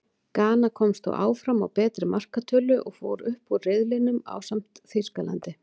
Gana komst þó áfram á betri markatölu, og fór upp úr riðlinum ásamt Þýskalandi.